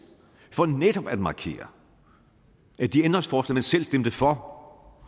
for netop at markere at de ændringsforslag man selv stemte for